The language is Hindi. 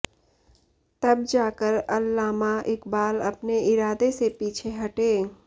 तब जाकर अल्लामा इक़बाल अपने इरादे से पीछे हटे